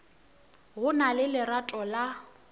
go na le lerato la